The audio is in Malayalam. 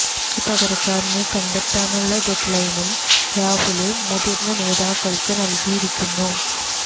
തനിക്ക് പകരക്കാരനെ കണ്ടെത്താനുളള ഡെഡ് ലൈനും രാഹുല് മുതിര്ന്ന നേതാക്കള്ക്ക് നല്കിയിരിക്കുന്നു